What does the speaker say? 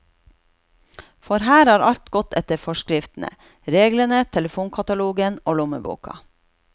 For her har alt gått etter forskriftene, reglene, telefonkatalogen og lommeboka.